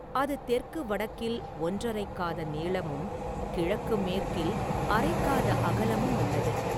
அது தெற்கு வடக்கில் ஒன்றரைக் காத நீளமும் கிழக்கு மேற்கில் அரைக் காத அகலமும் உள்ளது.